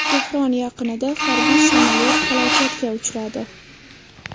Tehron yaqinida harbiy samolyot halokatga uchradi.